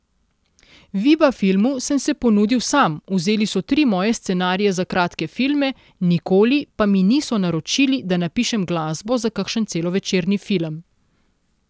Viba filmu sem se ponudil sam, vzeli so tri moje scenarije za kratke filme, nikoli pa mi niso naročili, da napišem glasbo za kakšen celovečerni film.